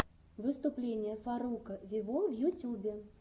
выступление фарруко вево в ютюбе